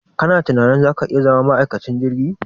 Ka na tunanin za ka iya zama ma'aikacin jirgi?